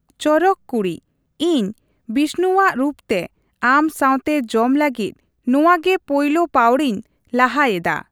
ᱪᱚᱨᱚᱠ ᱠᱩᱲᱤ, ᱤᱧ ᱵᱤᱥᱱᱩᱣᱟᱜ ᱨᱩᱯᱛᱮ, ᱟᱢ ᱥᱟᱶᱛᱮ ᱡᱚᱢ ᱞᱟᱹᱜᱤᱫ ᱱᱚᱣᱟ ᱜᱮ ᱯᱳᱭᱞᱳ ᱯᱟᱹᱣᱲᱤᱧ ᱞᱟᱦᱟᱭᱮᱫᱟ ᱾